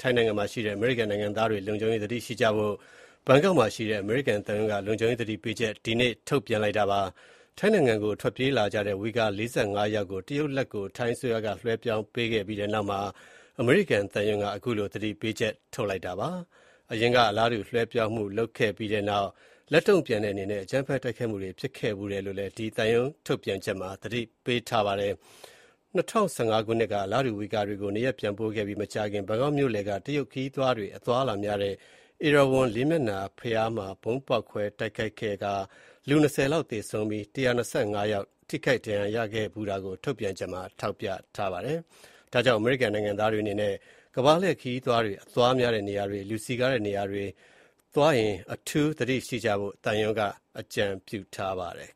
ထိုင်းနိုင်ငံမှာရှိတဲ့ အမေရိကန်နိုင်ငံသားတွေကို လုံခြုံရေးသတိရှိကြဖို့ ဘန်ကောက်မှာရှိတဲ့ အမေရိကန်သံရုံးက လုံခြုံရေးသတိပေးချက် ဒီနေ့ ထုတ်ပြန်လိုက်ပါတယ်။ ထိုင်းနိုင်ငံကို ထွက်ပြေးလာကြတဲ့ ဝိဂါ ၄၅ ယောက်ကို တရုတ်လက်ကို ထိုင်းအစိုးရက လွှဲပြောင်းပေးခဲ့ပြီးနောက်မှာ အမေရိကန်သံရုံးက အခုလို သတိပေးချက် ထုတ်လိုက်တာဖြစ်ပါတယ်။ အရင်က အလားတူ လွှဲပြောင်းမှု လုပ်ခဲ့ပြီးနောက် လက်တုံ့ပြန်တဲ့အနေနဲ့ အကြမ်းဖက် တိုက်ခိုက်မှုတွေ ဖြစ်ခဲ့ဖူးတယ်လို့ သံရုံး ထုတ်ပြန်ချက်မှာ သတိပေးထားပါတယ်။ ၂၀၁၅ ခုနှစ်က အလားတူ ဝီဂါတွေကို နေရပ်ပြန်ပို့ခဲ့ပြီးမကြာခင် ဘန်ကောက်မြို့လယ်က တရုတ်ခရီးသွားတွေ အသွားများတဲ့ ဧရာဝဏ် လေးမျက်နှာ ဘုရားမှာ ဗုံးဖေါက်ခွဲတိုက်ခိုက်မှု ဖြစ်ပွားခဲ့ပြီး လူ ၂၀ လောက်သေဆုံးကာ ၁၂၅ ယောက် ထိခိုက်ဒဏ်ရာရခဲ့ဖူးတာကို ထုတ်ပြန်ချက်မှာ ထောက်ပြထားပါတယ်။ ဒါကြောင့် အမေရိကန်နိုင်ငံသားတွေအနေနဲ့ ကမ္ဘာလှည့်ခရီးသွားတွေ အသွားများတဲ့နေရာတွေ၊ လူစည်ကားတဲ့နေရာတွေသွားရင် အထူးသတိရှိကြဖို့ သံရုံးက အကြံပြုထားပါတယ်